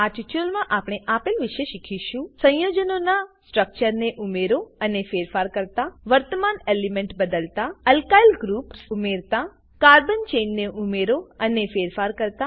આ ટ્યુટોરીયલમાં આપણે આપેલ વિશે શીખીશું સંયોજનો ના સ્ટ્રક્ચરને ઉમેરો અને ફેરફાર કરતા વર્તમાન એલિમેન્ટ બદલાતા એલ્કાઇલ ગ્રુપ્સ ઉમેરતા કાર્બન ચેઇન ને ઉમેરો અને ફેરફાર કરતા